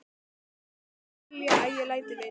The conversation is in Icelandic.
Gummi myndi vilja að ég léti vita.